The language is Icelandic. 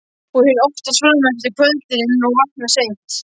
Ég vinn oftast fram eftir á kvöldin og vakna seint.